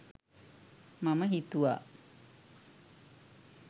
මම හිතුව